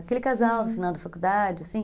Aquele casal no final da faculdade, assim.